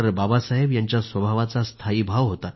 बाबासाहेब यांच्या स्वभावाचा स्थायीभाव होता